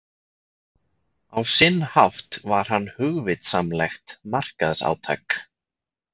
Á sinn hátt var hann hugvitsamlegt markaðsátak.